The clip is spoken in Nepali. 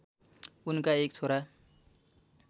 उनका एक छोरा